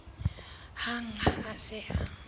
hang ha a se a